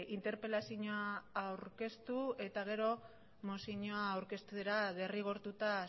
interpelazioa aurkeztu eta gero mozioa aurkeztera derrigortuta